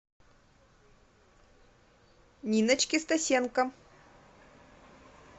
ниночке стасенко